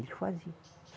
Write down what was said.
Ele fazia.